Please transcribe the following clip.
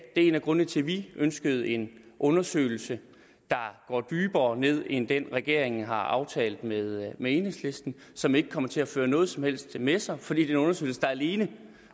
det er en af grundene til at vi ønsker en undersøgelse der går dybere ned end den regeringen har aftalt med med enhedslisten som ikke kommer til at føre noget som helst med sig fordi den undersøgelse alene